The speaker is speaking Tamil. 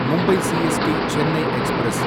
Mumbai CST Chennai express